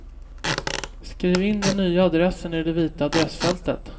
Skriv in den nya adressen i det vita adressfältet.